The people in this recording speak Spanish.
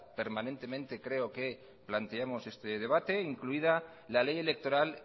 permanentemente creo que planteamos este debate incluida la ley electoral